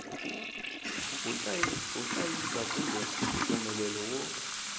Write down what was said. wo hlayisa kumbe mpfumelelo wo